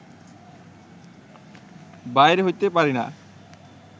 বাইর হইতে পারিনা